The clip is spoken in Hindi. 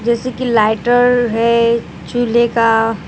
जैसे की लाइटर है चूल्हे का।